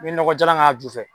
N bi nɔgɔ jalan k'a ju fɛ